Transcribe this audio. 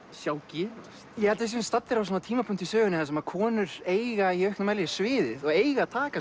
sjá gerast ég held við séum staddir á tímapunkti í sögunni þar sem konur eiga í auknum mæli sviðið og eiga að taka